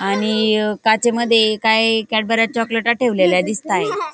आणि काचेमध्ये काय कॅडबऱ्या चॉकलेटस् ठेवलेले दिसताय.